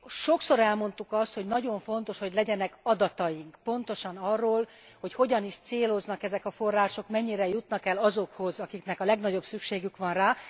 Sokszor elmondtuk azt, hogy nagyon fontos, hogy legyenek adataink pontosan arról, hogy hogyan is céloznak ezek a források, mennyire jutnak el azokhoz, akiknek a legnagyobb szükségük van rá.